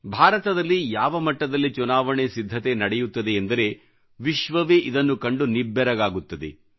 ಭಾರತದಲ್ಲಿ ಯಾವ ಮಟ್ಟದಲ್ಲಿ ಚುನಾವಣೆ ಸಿದ್ಧತೆ ನಡೆಯುತ್ತದೆ ಎಂದರೆ ವಿಶ್ವವೇ ಇದನ್ನು ಕಂಡು ನಿಬ್ಬೆರಗಾಗುತ್ತದೆ